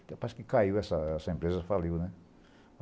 Até quase que caiu essa essa empresa, faliu, né?